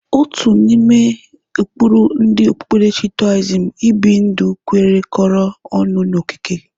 Otu n'ime ụkpụrụ ndị okpukperechi Toaism ibi ndụ kwerekọrọ ọnụ n'okike.